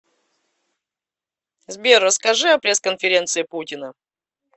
сбер расскажи о пресс конференции путина